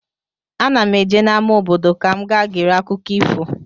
Ana m eje n'ama obodo ka m gaa gere akụkọ ifo.